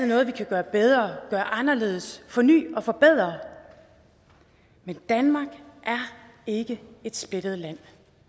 noget vi kan gøre bedre gøre anderledes forny og forbedre men danmark er ikke et splittet land